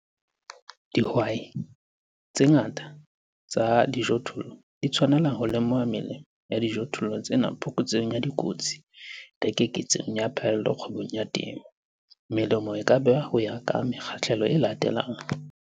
Dihwai tse ngata tsa dijothollo di tshwanela ho lemoha melemo ya dijothollo tsena phokotsehong ya dikotsi le keketsehong ya phaello kgwebong ya temo. Melemo e ka behwa ho ya ka mekgahlelo e latelang.